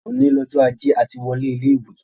Òní lọjọ́ ajé, a ti wọlé ilé ìwé.